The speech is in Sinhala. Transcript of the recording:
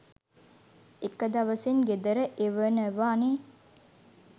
එක දවසෙන් ගෙදර එවනවනෙ